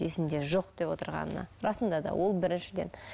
есімде жоқ деп отырғанына расында да ол біріншіден